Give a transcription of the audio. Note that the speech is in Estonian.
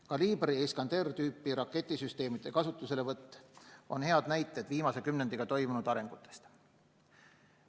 Kalibr ja Iskander-tüüpi raketisüsteemide kasutuselevõtt on hea näide viimase kümnendiga toimunud arengutest.